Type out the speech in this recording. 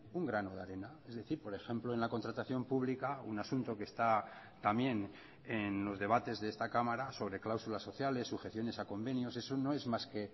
un grano de arena es decir por ejemplo en la contratación pública un asunto que está también en los debates de esta cámara sobre cláusulas sociales sujeciones a convenios eso no es más que